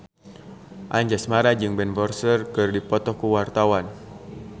Anjasmara jeung Ben Foster keur dipoto ku wartawan